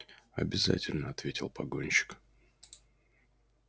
обязательно ответил погонщик